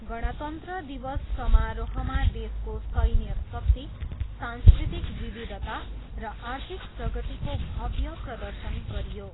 गणतन्त्र दिवस समारोहमा देशको सैन्य शक्ति, सांस्कृतिक विविधता र आर्थिक प्रगतिको भव्य प्रदर्शन गरियो।